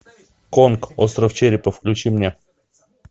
конг остров черепа включи мне